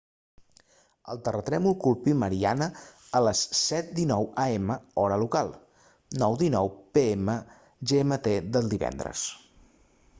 el terratrèmol colpí mariana a les 07:19 am hora local 09:19 pm gmt del divendres